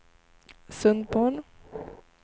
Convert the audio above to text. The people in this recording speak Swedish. Sundborn